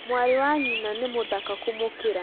Mwarĩ wa nyina nĩ mũthaka kũmũkĩra